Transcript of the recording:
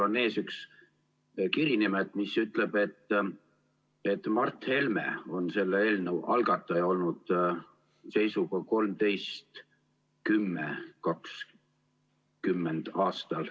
Mul on ees üks kiri nimelt, mis ütleb, et Mart Helme on selle eelnõu algataja olnud seisuga 13.10.2020.